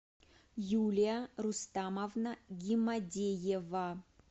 юлия рустамовна гимадеева